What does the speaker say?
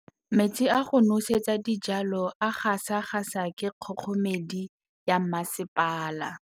Metsi a go nosetsa dijalo a gasa gasa ke kgogomedi ya masepala.